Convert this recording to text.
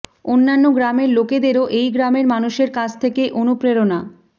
অন্যান্য গ্রামের লোকদেরও এই গ্রামের মানুষের কাছ থেকে অনুপ্রেরণা